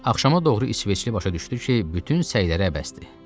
Axşama doğru İsveçli başa düşdü ki, bütün səyləri əbəsdir.